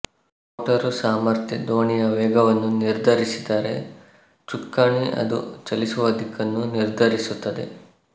motor ಸಾಮರ್ಥ್ಯ ದೋಣಿಯ ವೇಗವನ್ನು ನಿರ್ಧರಿಸಿದರೆ ಚುಕ್ಕಾಣಿ ಅದು ಚಲಿಸುವ ದಿಕ್ಕನ್ನು ನಿರ್ಧರಿಸುತ್ತದೆ